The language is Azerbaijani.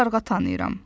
Bir qarğa tanıyıram.